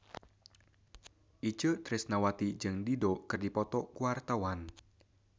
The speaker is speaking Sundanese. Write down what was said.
Itje Tresnawati jeung Dido keur dipoto ku wartawan